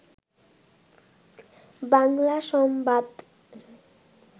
বাংলা সংবাদ